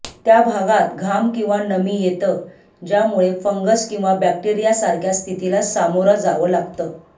त्या भागात घाम किंवा नमी येतं ज्यामुळे फंगस किंवा बॅक्टेरिया सारख्या स्थितीला समोरा जावं लागतं